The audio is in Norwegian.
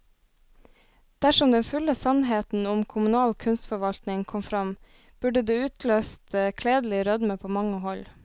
Dersom den fulle sannheten om kommunal kunstforvaltning kom frem, burde det utløst kledelig rødme på mange hold.